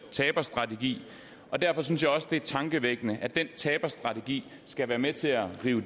taberstrategi derfor synes jeg også det er tankevækkende at den taberstrategi skal være med til at rive